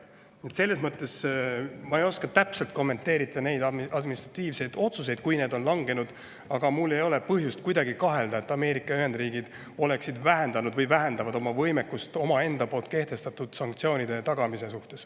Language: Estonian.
Nii et selles mõttes ma ei oska täpselt kommenteerida neid langetatud administratiivseid otsuseid, aga mul ei ole põhjust, et Ameerika Ühendriigid oleksid vähendanud või vähendavad oma võimekust omaenda kehtestatud sanktsioonide tagamisel.